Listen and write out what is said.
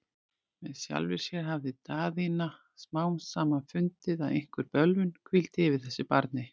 Með sjálfri sér hafði Daðína smám saman fundið, að einhver bölvun hvíldi yfir þessu barni.